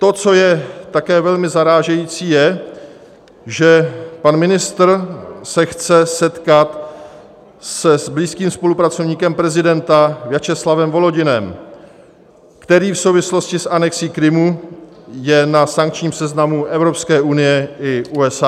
To, co je také velmi zarážející, je, že pan ministr se chce setkat s blízkým spolupracovníkem prezidenta Vjačeslavem Volodinem, který v souvislosti s anexí Krymu je na sankčním seznamu EU i USA.